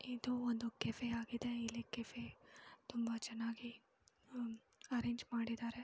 ಇದು ಒಂದು ಕೆಫೆ ಆಗಿದೆ ಇಲ್ಲಿ ಕೆಫೆ ತುಂಬ ಚೆನ್ನಾಗಿ ಅರೆಂಜ್ ಮಾಡಿದ್ದಾರೆ.